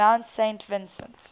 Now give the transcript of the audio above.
mount saint vincent